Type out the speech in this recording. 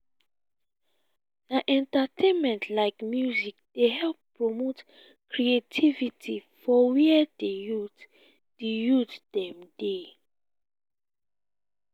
na entertainment like music dey help promote creativity for where di youth di youth dem dey.